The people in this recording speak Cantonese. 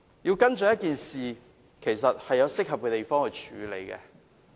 想跟進一件事項，也要循適合的途徑。